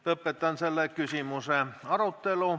Lõpetan selle küsimuse arutelu.